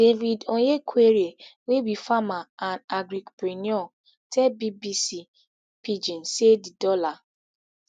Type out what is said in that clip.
david onyekwere wey be farmer and agripreneur tell bbc pidgin say di dollar